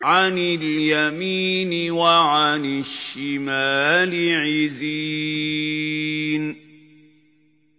عَنِ الْيَمِينِ وَعَنِ الشِّمَالِ عِزِينَ